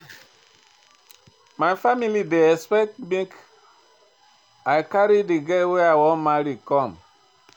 My family dey expect make I carry di girl wey I wan marry come.